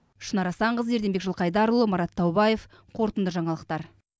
шынар асанқызы ерденбек жылқайдарұлы марат таубаев қорытынды жаңалықтар